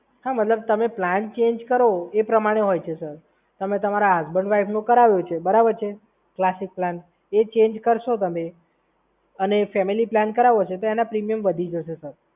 હા મતલબ તમે પ્લાન ચેન્જ કરો એ પ્રમાણે હોય છે, સર. તમે તમારા હસબન્ડ વાઈફનું કરાવવાનું છે આખો પ્લાન એ ચેન્જ કરશો તમે અને ફેમિલી પ્લાન કરાવો છો તો એના પ્રીમિયમ વધી જશે, સર.